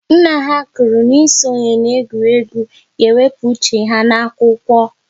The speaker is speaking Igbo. Nna ha kwụrụ n'ịsonye na-egwuregwu ga-ewepụ ha uche n'akwụkwọ